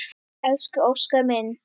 Elsku Óskar minn.